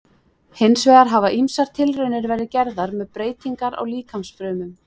Hins vegar hafa ýmsar tilraunir verið gerðar með breytingar á líkamsfrumum.